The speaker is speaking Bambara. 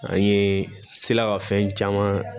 An ye sela ka fɛn caman